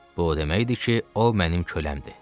Bu o deməkdir ki, o mənim köləmdir.